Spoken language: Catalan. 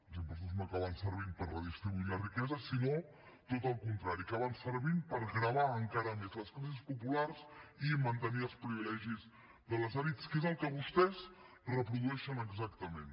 els impostos no acaben servint per redistribuir la riquesa sinó tot el contrari acaben servint per gravar encara més les classes populars i mantenir els privilegis de les elits que és el que vostès reprodueixen exactament